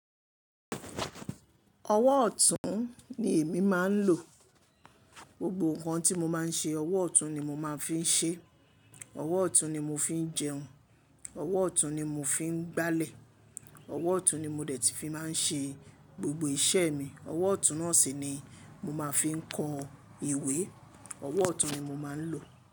Ọwọ́ ọ̀tún ni èmi máa ń lò. Gbogbo nǹkan tí mo máa ń ṣe, ọwọ́ ọ̀tún ni mo máa ń fi ń ṣe. Ọwọ́ ọ̀tún ni mo fi ń jẹun, ọwọ́ ọ̀tún ni mo fi ń gbálẹ̀, ọwọ́ ọ̀tún ni mo dẹ̀ tíí fi máa ń ṣe gbogbo iṣẹ́ mi. Ọwọ́ ọ̀tún náà sì ni mo máa fi ń kọ ìwé. Ọwọ́ ọ̀tún ni mo máa ń lò.